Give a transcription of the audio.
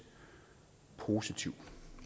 positivt